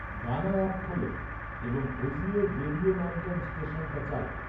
গানা app খোল এবং হোজিয়ের রেডিও নামকন ষ্টেশনটা চালাও